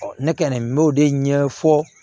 ne kɛlen no o de ɲɛfɔ